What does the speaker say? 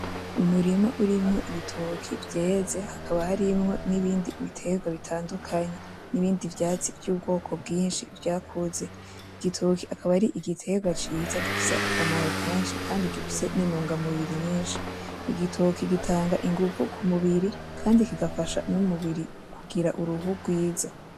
Umurima urimwo ibitoke vyeze, hakaba harimwo nibindi bitandukanye, n'ibindi vyatsi vyubwoko bwishi butandukanye vyakuze. Igitoki akaba ar'igiterwa ciza kandi gifise akamaro kenshi kandi gifise n'intungamubiri nyishi. igitoki gitanga inguvu kumubiri kandi kigafasha n'umubiri kugira uruhu rwiza .